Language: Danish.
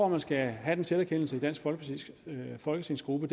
at man skal have den selverkendelse i dansk folkepartis folketingsgruppe